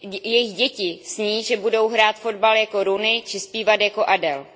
Jejich děti sní, že budou hrát fotbal jako Rooney, či zpívat jako Adele.